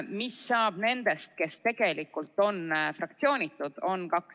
Mis saab nendest, kes tegelikult on fraktsioonitud?